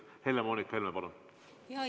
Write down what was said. Helle-Moonika Helme, palun!